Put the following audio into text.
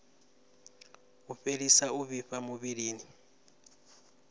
u fhelisa u vhifha muvhilini